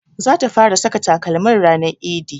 Zata fara saka takalmin ranar idi